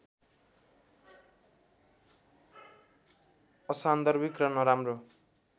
असान्दर्भिक र नराम्रो